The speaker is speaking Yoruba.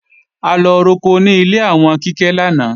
A lọ roko ní ilé àwọn Kíkẹ́ lánàá